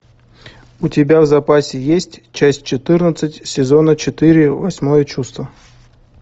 у тебя в запасе есть часть четырнадцать сезона четыре восьмое чувство